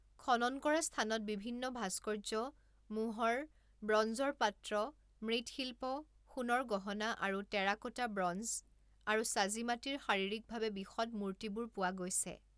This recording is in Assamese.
খনন কৰা স্থানত বিভিন্ন ভাস্কৰ্য্য, মোহৰ, ব্ৰঞ্জৰ পাত্ৰ, মৃৎশিল্প, সোণৰ গহনা আৰু টেৰাকোটা, ব্ৰঞ্জ আৰু চাজিমাটিৰ শাৰীৰিকভাৱে বিশদ মূৰ্তিবোৰ পোৱা গৈছে।